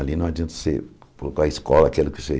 Ali não adianta você colocar a escola, aquilo que você